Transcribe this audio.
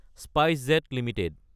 SpiceJet Ltd